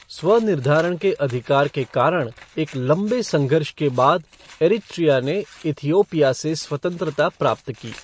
स्व निर्धारण के अधिकार के कारण एक लंबे संघर्ष के बाद इरीट्रिया ने इथिओपिया से स्वतंत्रता प्राप्त की।